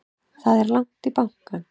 Það er langt í bankann!